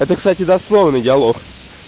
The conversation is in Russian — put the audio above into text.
это кстати дословный диалог